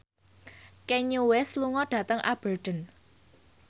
Kanye West lunga dhateng Aberdeen